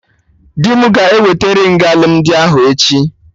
Dị mụ ga eweta ringị alụmdi ahụ echi